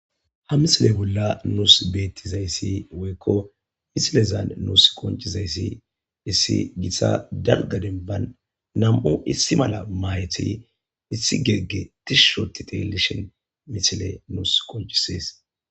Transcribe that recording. ha misile bolla nuus beettizayssi woykko misilezan nuus qonchizayssi issi githta dalga demban nam7u issi mala maayti issi geegge tishushoti telishin misile nuus konchisees